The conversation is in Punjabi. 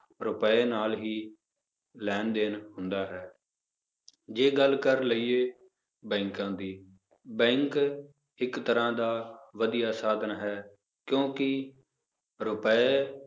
ਰੁਪਏ ਨਾਲ ਹੀ ਲੈਣ ਦੇਣ ਹੁੰਦਾ ਹੈ ਜੇ ਗੱਲ ਕਰ ਲਈਏ ਬੈਂਕਾਂ ਦੀ bank ਇੱਕ ਤਰ੍ਹਾਂ ਦਾ ਵਧੀਆ ਸਾਧਨ ਹੈ ਕਿਉਂਕਿ ਰੁਪਏ